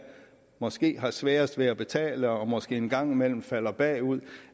måske har svært ved at betale og måske en gang imellem falder bagud